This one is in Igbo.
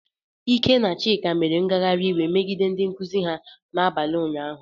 Ike na Chika, mere ngagharị iwe megide ndị nkuzi ha n'abalị ụnyahụ.